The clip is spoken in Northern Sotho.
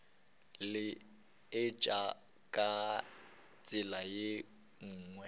laetša ka tsela ye nngwe